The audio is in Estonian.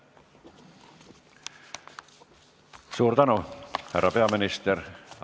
Suur tänu, härra peaminister!